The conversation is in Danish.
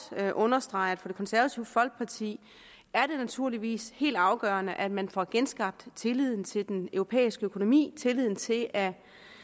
understrege at for det konservative folkeparti er det naturligvis helt afgørende at man får genskabt tilliden til den europæiske økonomi tilliden til at